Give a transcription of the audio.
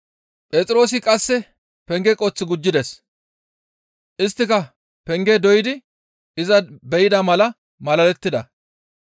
Phexroosi qasseka penge qoth gujjides; isttika pengaa doydi iza be7ida mala malalettida.